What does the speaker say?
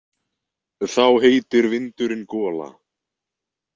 Þá heitir vindurinn gola.